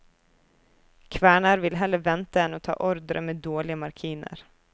Kværner vil heller vente enn å ta ordre med dårlige marginer.